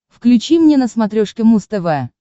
включи мне на смотрешке муз тв